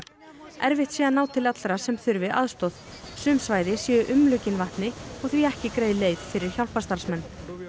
erfitt sé að ná til allra sem þurfi aðstoð sum svæði séu umlukin vatni og því ekki greið leið fyrir hjálparstarfsmenn